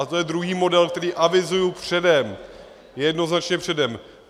A to je druhý model, který avizuji předem, jednoznačně předem.